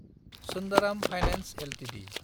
Sundaram finance Ltd